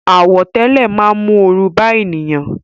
Àwọ̀tẹ́lẹ̀ máa ń mú oru bá ènìyàn